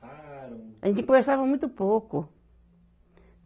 A gente conversava muito pouco.